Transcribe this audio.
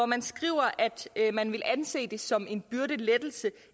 man skriver at man vil anse det som en byrdelettelse